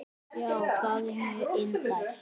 Já, það er mjög indælt.